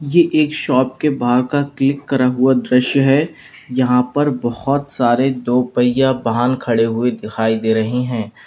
ये एक शॉप के बाहर का क्लिक करा हुआ दृश्य है यहां पर बहुत सारे दो पहिया वाहन खड़े हुए दिखाई दे रहे हैं।